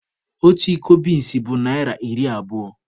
Otu iko binsi bụ naịra iri abụo